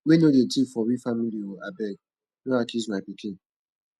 wey no dey tif for we family o abeg no accuse my pikin